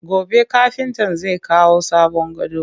Gobe kafintan zai kawo sabon gadon